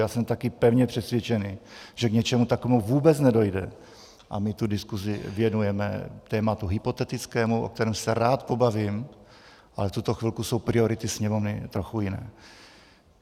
Já jsem taky pevně přesvědčený, že k něčemu takovému vůbec nedojde, a my tu diskusi věnujeme tématu hypotetickému, o kterém se rád pobavím, ale v tuto chvilku jsou priority Sněmovny trochu jiné.